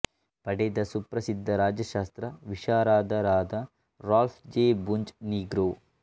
ಪಡೆದ ಸುಪ್ರಸಿದ್ಧ ರಾಜ್ಯಶಾಸ್ತ್ರ ವಿಶಾರದರಾದ ರಾಲ್ಫ್ ಜೆ ಬುಂಜ್ ನೀಗ್ರೊ